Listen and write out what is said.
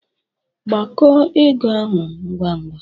Gbakọọ ego ahụ ngwa ngwa!